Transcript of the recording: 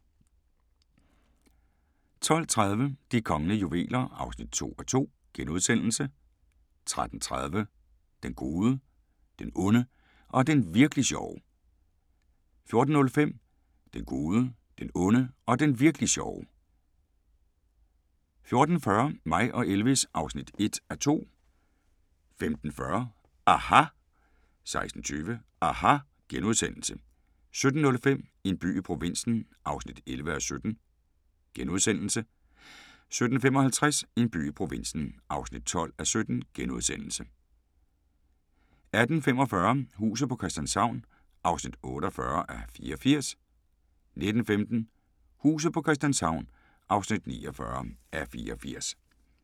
12:30: De kongelige juveler (2:2)* 13:30: Den gode, den onde og den Virk'li sjove 14:05: Den Gode, Den Onde og Den Virk'li Sjove 14:40: Mig og Elvis (1:2) 15:40: aHA! 16:20: aHA! * 17:05: En by i provinsen (11:17)* 17:55: En by i provinsen (12:17)* 18:45: Huset på Christianshavn (48:84) 19:15: Huset på Christianshavn (49:84)